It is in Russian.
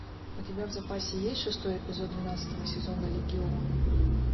у тебя в запасе есть шестой эпизод двенадцатого сезона легион